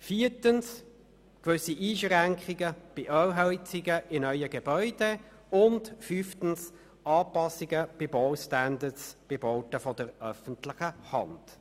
Viertens formulieren sie gewisse Einschränkungen bei Ölheizungen in neuen Gebäuden und fünftens definieren sie Anpassungen der Baustandards bei Bauten der öffentlichen Hand.